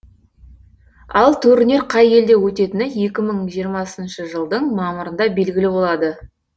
ал турнир қай елде өтетіні екі мың жиырмасыншы жылдың мамырында белгілі болады